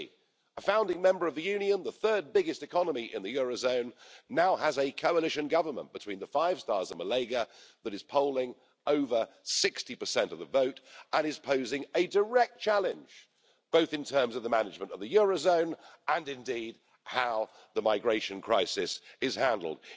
Italy, a founding member of the Union, the third biggest economy in the euro area, now has a coalition government between the 5-Stars and the Lega that is polling over 60 of the vote and is posing a direct challenge, both in terms of the management of the euro area and indeed, how the migration crisis is handled.